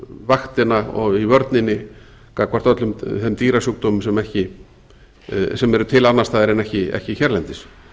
vaktina og í vörninni gagnvart öllum þeim dýrasjúkdómum sem eru til annars staðar en ekki hérlendis